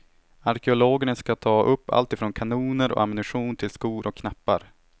Arkeologerna ska ta upp alltifrån kanoner och ammunition till skor och knappar.